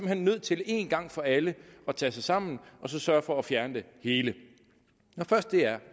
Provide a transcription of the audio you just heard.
hen nødt til én gang for alle at tage sig sammen og så sørge for at fjerne det hele når først det er